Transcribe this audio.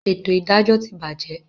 Etò ìdájọ́ ti bàjé